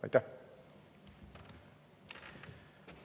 Aitäh!